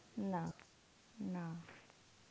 না না.